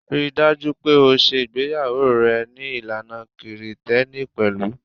Ri dájú pé o ṣe ìgbéyàwó rẹ ní ìlànà Kirìtẹ́nì pẹ̀lú.